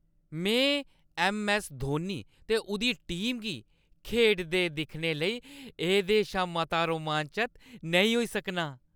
में ऐम्म.ऐस्स. धोनी ते उʼदी टीम गी खेढदे दिक्खने लेई एह्‌दे शा मता रोमांचत नेईं होई सकनां।